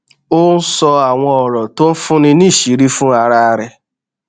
ó ń sọ àwọn òrò tó ń fúnni níṣìírí fún ara rè